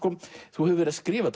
þú hefur verið að skrifa